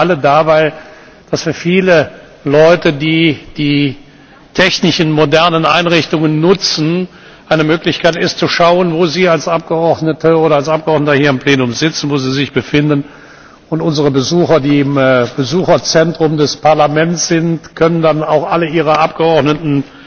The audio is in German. Seien Sie bitte alle da, weil das für viele Leute, die die technischen modernen Einrichtungen nutzen, eine Möglichkeit ist, zu schauen, wo Sie als Abgeordnete oder als Abgeordneter hier im Plenum sitzen, wo Sie sich befinden. Unsere Besucher, die im Besucherzentrum des Parlaments sind, können dann auch alle ihre Abgeordneten